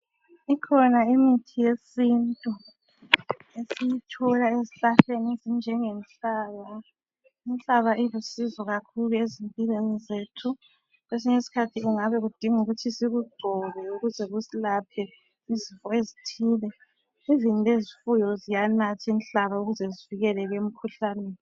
Imithi yesintu esiyithola ezihlahleni ezinjengenhlaba. Inhlaba ilusizo kakhulu ezimpilweni zethu. Kwesinye iskhathi kungabe kudinga ukuthi sikugcobe ukuze kusilaphe izifo ezithile, "even" lezifuyo ziyanatha inhlaba ukuze zivkeleke emkhuhlaneni.